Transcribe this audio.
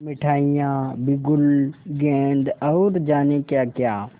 मिठाइयाँ बिगुल गेंद और जाने क्याक्या